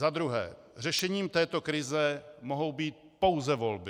Za druhé, řešením této krize mohou být pouze volby.